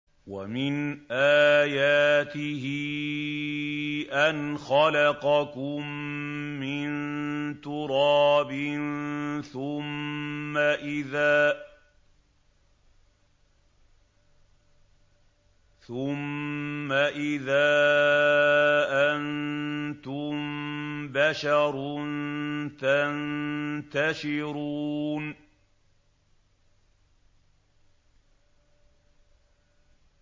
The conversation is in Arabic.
وَمِنْ آيَاتِهِ أَنْ خَلَقَكُم مِّن تُرَابٍ ثُمَّ إِذَا أَنتُم بَشَرٌ تَنتَشِرُونَ